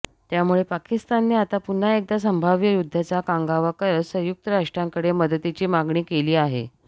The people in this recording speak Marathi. त्यामुळे पाकिस्तानने आता पुन्हा एकदा संभाव्य युद्धाचा कांगावा करत संयुक्त राष्ट्रांकडे मदतीची मागणी केली आहे